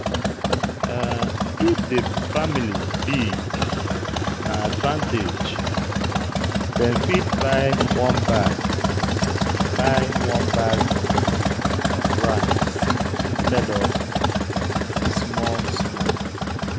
If di family big, na advantage, dem fit buy one bag buy one bag of rice instead of small small